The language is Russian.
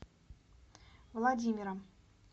владимиром